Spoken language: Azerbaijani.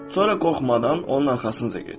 Sonra qorxmadan onun arxasınca get.